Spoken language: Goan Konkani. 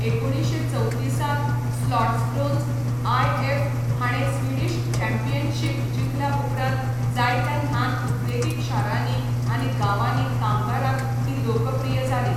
एकुणशे चवतिसांत स्लॉट्सब्रोन्स आयएफ हाणें स्विडीश चॅम्पियनशीप जिखल्या उपरांत जायत्या ल्हान उद्देगीक शारांनी आनी गांवांनी कामगारांक ती लोकप्रिय जाली.